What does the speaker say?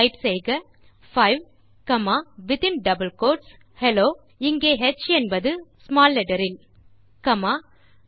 type செய்க 5 comma வித்தின் double quotes hello where ஹ் இஸ் ஸ்மால் லெட்டர் காமா 25